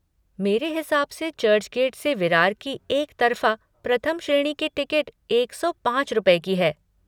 मेरे हिसाब से चर्चगेट से विरार की एकतरफ़ा प्रथम श्रेणी की टिकट एक सौ पाँच रुपये की है।